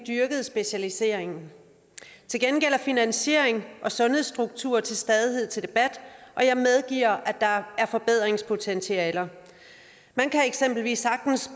dyrket specialiseringen til gengæld er finansiering og sundhedsstruktur til stadighed til debat og jeg medgiver at der er forbedringspotentialer man kan eksempelvis sagtens